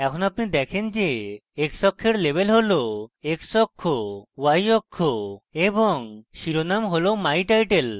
এখন আপনি দেখেন যে x অক্ষের label হল x অক্ষ y অক্ষ এবং শিরোনাম হল my title